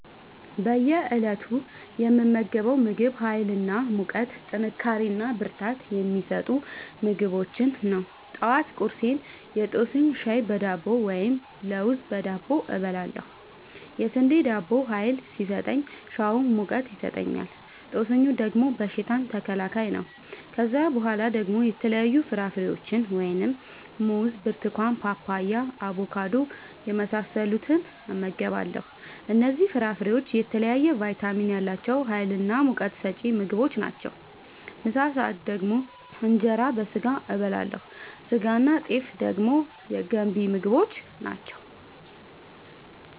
በእየ እለቱ የምመገበው ምግብ ሀይል እና ሙቀት ጥንካሬና ብርታት የሚሰጡ ምግቦችን ነው። ጠዋት ቁርሴን የጦስኝ ሻይ በዳቦ ወይም ለውዝ በዳቦ እበላለሁ። የስንዴ ዳቦው ሀይል ሲሰጠኝ ሻዩ ሙቀት ይሰጠኛል። ጦስኙ ደግሞ በሽታ ተከላካይ ነው። ከዛ በኋላ ደግሞ የተለያዩ ፍራፍሬዎችን(ሙዝ፣ ብርቱካን፣ ፓፓያ፣ አቦካዶ) የመሳሰሉትን እመገባለሁ እነዚህ ፍራፍሬዎች የተለያየ ቫይታሚን ያላቸው ሀይልናሙቀት ሰጪ ምግቦች ናቸው። ምሳ ሰአት ደግሞ እንጀራ በስጋ አበላለሁ ስጋናጤፍ ደግሞ ገንቢ ምግቦች ናቸው